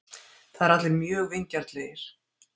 Það eru allir mjög vingjarnlegir.